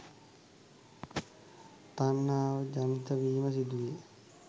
තණ්හාව ජනිත වීම සිදුවේ.